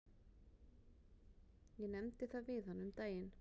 Ég nefndi það við hana um daginn.